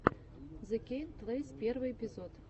зе кейн плэйс первый эпизод